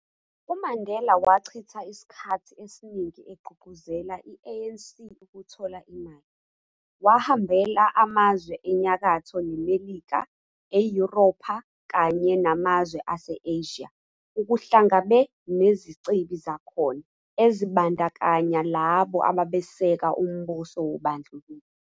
UMandela wachitha isikhathi esiningi egqugquzelela i-ANC ukuthola imali, wahambela amazwe enyakatho neMelika, eYuropha, kanya namazwe ase-Asia, ukuhlangabe nezicebi zakhona, ezibandakanya labo ababesekela umbuso wobandlululo.